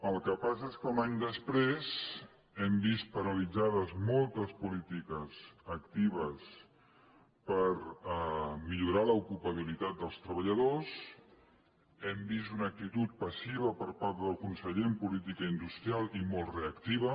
el que passa és que un any després hem vist paralitza·des moltes polítiques actives per millorar l’ocupabili·tat dels treballadors hem vist una actitud passiva per part del conseller en política industrial i molt reactiva